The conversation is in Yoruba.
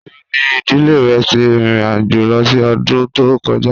Nibo ni idile rẹ ti rin irin-ajo lọ si ọdun to kọja?